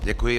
Děkuji.